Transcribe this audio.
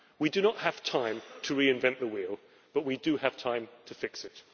We do not have time to reinvent the wheel, but we do have time to fix it.